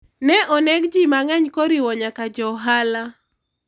ne oneg ji mang'eny koriwo nyaka jo ohala